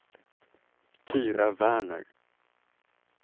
Tyra Werner